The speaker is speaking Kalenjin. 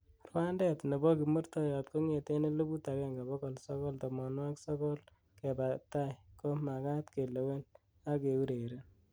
rwandet nebo kimurtoiyot kong'eten eliput agenge bogol sogol tomonwogik sogol keba tai ko magat kelewen ak keureren